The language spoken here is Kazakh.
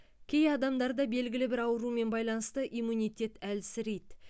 кей адамдарда белгілі бір аурумен байланысты иммунитет әлсірейді